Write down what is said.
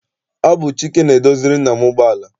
Ọ bụ Chike na-edoziri nna m ụgbọala.